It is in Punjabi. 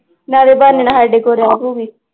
ਨਾਲੇ ਬਹਾਨੇ ਨਾਲ ਸਾਡੇ ਕੋਲ ਰਹਿ ਪਊਗੀ